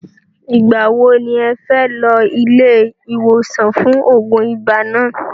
Ìgbà wo ni ẹ fẹ́ lọ ilé iwosan fún oògùn ibà náà?